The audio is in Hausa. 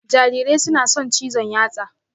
Jarirai suna son cizon yatsa